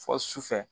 Fɔ sufɛ